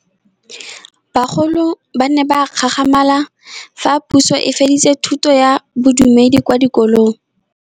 Bagolo ba ne ba gakgamala fa Pusô e fedisa thutô ya Bodumedi kwa dikolong.